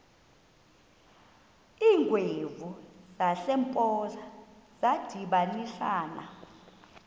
iingwevu zasempoza zadibanisana